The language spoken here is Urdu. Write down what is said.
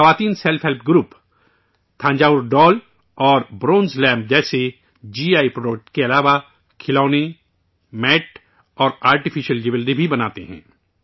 یہ خواتین self help group Thanjavur doll اور برونز لیمپ جیسے جی آئی پروڈکٹ کے علاوہ کھلونے، میٹ اور آرٹیفیشل جیولری بھی بناتے ہیں